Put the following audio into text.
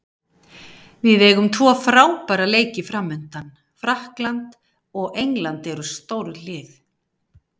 Við eigum tvo frábæra leiki framundan, Frakkland og England eru stórlið.